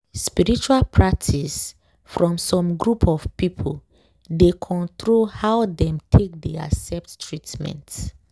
spiritual practice from some group of people dey control how dem take dey accept treatment.